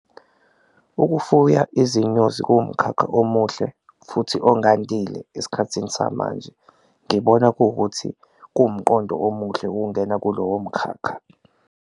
Ukufuya izinyosi kuwumkhakha omuhle futhi ongandile esikhathini samanje, ngibona kuwukuthi kuwumqondo omuhle ukungena kulowo mkhakha.